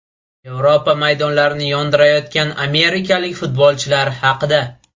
Yevropa maydonlarini yondirayotgan amerikalik futbolchilar haqida.